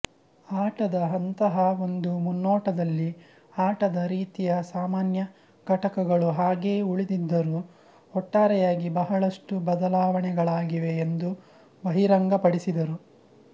ಆಟದ ಅಂತಹಾ ಒಂದು ಮುನ್ನೋಟದಲ್ಲಿ ಆಟದ ರೀತಿಯ ಸಾಮಾನ್ಯ ಘಟಕಗಳು ಹಾಗೆಯೇ ಉಳಿದಿದ್ದರೂ ಒಟ್ಟಾರೆಯಾಗಿ ಬಹಳಷ್ಟು ಬದಲಾವಣೆಗಳಾಗಿವೆ ಎಂದು ಬಹಿರಂಗಪಡಿಸಿದರು